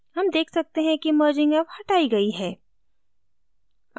हम देख सकते हैं कि merging अब हटाई गयी है